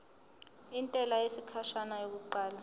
intela yesikhashana yokuqala